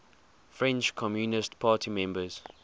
french communist party members